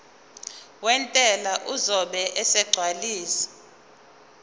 wentela uzobe esegcwalisa